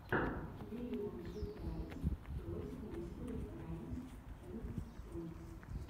биллион сюрпрайз тойс несери раймс энд сонгс